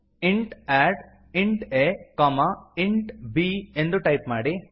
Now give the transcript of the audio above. int add int a int b ಎಂದು type ಮಾಡಿ